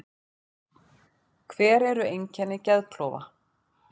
Hver eru einkenni geðklofa?